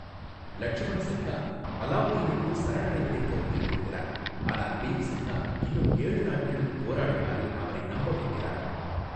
லட்சுமன்சின்ஹா அலாவுதீனுக்கு சரணடைவதைக் கருத்தில் கொள்கிறார், ஆனால் பீம்சின்ஹா இன்னும் ஏழு நாட்களுக்கு போராடுமாறு அவரை நம்ப வைக்கிறார்.